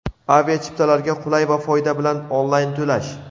Aviachiptalarga qulay va foyda bilan onlayn-to‘lash!.